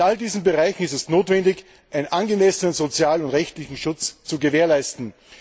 In all diesen Bereichen ist es notwendig, einen angemessenen sozialen und rechtlichen Schutz zu gewährleisten.